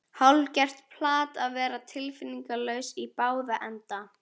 Hálfgert plat að vera tilfinningalaus í báða enda.